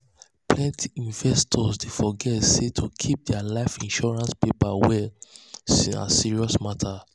um plenty investors dey forget dey forget say to keep their life insurance paper well um na um serious matter.